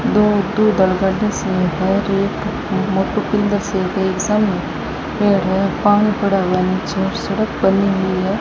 सामने पेड़ है पानी पड़ा हुआ है नीचे और सड़क बनी हुई है।